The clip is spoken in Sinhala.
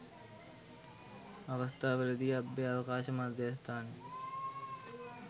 අවස්ථා වලදී අභ්‍යාවකාශ මධ්‍යස්ථානය